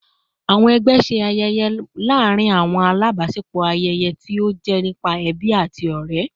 Awọn ẹgbẹ ṣe ayẹyẹ mnu laarin awọn alabaṣepọ ni ayẹyẹ ti o jẹri nipasẹ ẹbi ati awọn ọrẹ